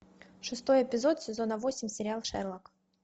шестой эпизод сезона восемь сериал шерлок